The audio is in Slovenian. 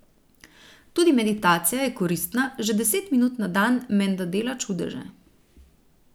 Tudi meditacija je koristna, že deset minut na dan menda dela čudeže.